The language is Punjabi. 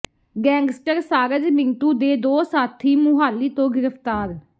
ਗੈਂਗਸਟਰ ਸਾਰਜ ਮਿੰਟੂ ਦੇ ਦੋ ਸਾਥੀ ਮੁਹਾਲੀ ਤੋਂ ਗ੍ਰਿਫ਼ਤਾਰ